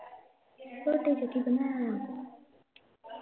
ਰੋਟੀ ਚ ਕੀ ਬਣਾਇਆ ਈ